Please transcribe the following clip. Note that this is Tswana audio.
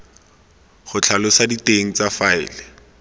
go tlhalosa diteng tsa faele